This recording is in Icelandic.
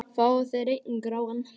Fáðu þér einn gráan!